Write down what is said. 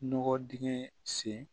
Nɔgɔ dingɛ sen